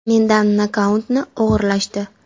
Mendan nokautni o‘g‘irlashdi.